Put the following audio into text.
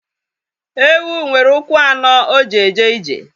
Ewu nwere ụkwụ anọ o ji eje ije